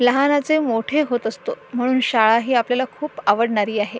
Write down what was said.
लहानाचे मोठे होत असतो म्हणून शाळा ही आपल्याला खूप आवडणारी आहे.